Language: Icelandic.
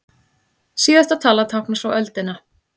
Síðasta talan táknar svo öldina.